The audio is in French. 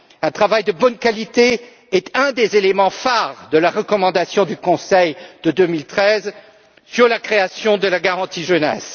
Un travail de bonne qualité est un des éléments phares de la recommandation du Conseil de 2013 sur la création de la garantie jeunesse.